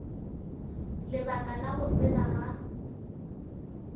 lebaka la go tsebega ga